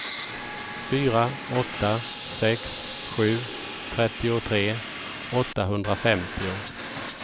fyra åtta sex sju trettiotre åttahundrafemtio